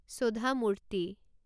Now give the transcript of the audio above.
সোধা মূৰ্তি